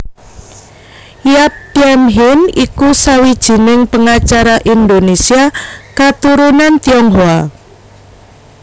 Yap Thiam Hien iku sawijining pengacara Indonésia katurunan Tionghoa